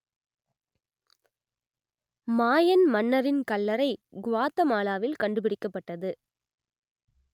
மாயன் மன்னரின் கல்லறை குவாத்தமாலாவில் கண்டுபிடிக்கப்பட்டது